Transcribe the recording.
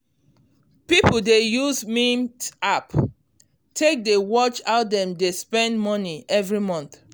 people dey use mint um app um take dey watch how dem um dey spend money every month.